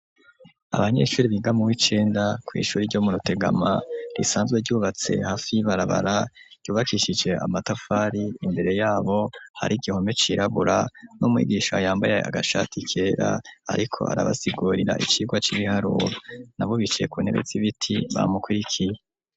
Abanyeshuri bigamu w'icenda ku ishuri ryo mu Rutegama risanzwe ryubatse hafi barabara yubakishije amatafari. Imbere yabo hari igihome cirabura n'umwigisha yambaye agashati kera ariko arabasigurira icirwa c'ibiharuro aho bicaye kuntebe zi ibiti bamukirikiye.